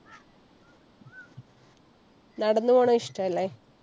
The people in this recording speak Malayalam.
നടന്നു പോണത് ഇഷ്ടല്ലെ?